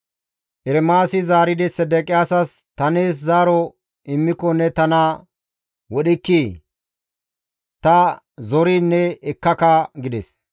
Ermaasi zaaridi Sedeqiyaasas, «Ta nees zaaro immiko ne tana wodhikkii? Ta zoriin ne ekkaka» gides.